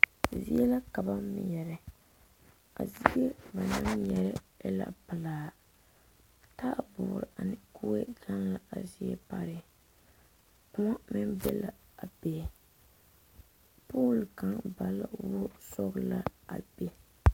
Zie la ka ba mɛre a zie banaŋ mɛre e la pelaa taayɛboɔre ane kue gaŋ la a zie pare kõɔ meŋ be la a be pole kaŋ ba la wogi sɔglaa a be.